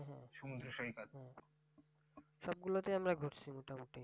সবগুলাতেই আমরা ঘুরছি মোটামুটি।